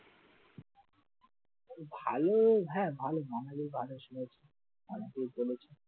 ভালো হ্যাঁ ভালো, জঙ্গলের বাঘ এসে শুয়ে আছে